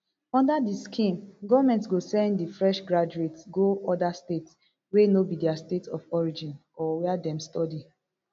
under di scheme goment go send di fresh graduates go oda states wey no be dia state of origin or wia dem study